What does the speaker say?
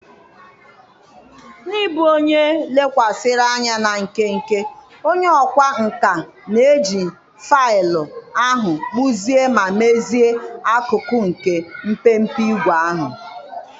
N'ịbụ onye lekwasịrị anya na nkenke, onye ọkwá nkà na-eji faịlụ ahụ kpụzie ma mezie akụkụ nke mpempe ígwè ahụ.